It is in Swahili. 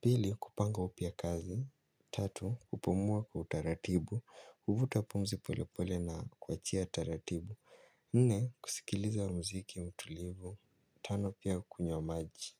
pili kupanga upya kazi tatu kupumuaa kwa utaratibu kuvuta pumzi pole pole na kuachia taratibu nne kusikiliza wa mziki utulivu tano pia kukunywa maji.